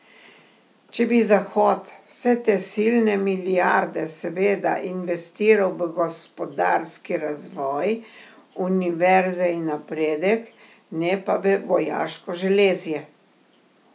Če bi Zahod vse te silne milijarde seveda investiral v gospodarski razvoj, univerze in napredek, ne pa v vojaško železje.